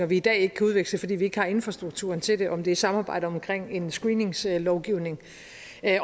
vi i dag ikke kan udveksle fordi vi ikke har infrastrukturen til det om det er samarbejde omkring en screeningslovgivning